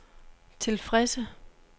tilfredse